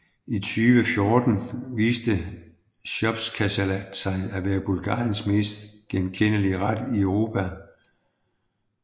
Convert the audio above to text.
I 2014 viste shopskasalat sig at være Bulgariens mest genkendelige ret i Europa